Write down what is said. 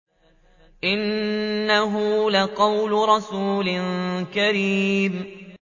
إِنَّهُ لَقَوْلُ رَسُولٍ كَرِيمٍ